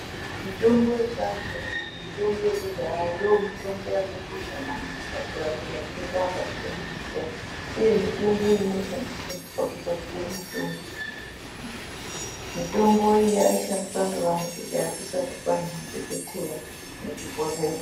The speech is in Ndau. Mitombo yechiantu kana kuti mitombo yekudhaya ndiyo mitombo yakakosha maningi pakurape matenda akasiyana siyana. Uye mutombo iyi inoshandiswa pakugadzira mitombo yechizvino zvino. Mitombo iyi yaishandiswa ngevantu kusati kwaane madhokotheya nezvibhodhlera.